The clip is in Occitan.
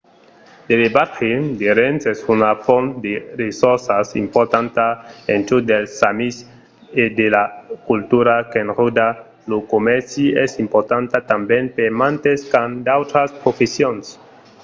l'elevatge de rèns es una font de ressorças importanta en çò dels samis e la cultura qu'enròda lo comèrci es importanta tanben per mantes qu’an d’autras professions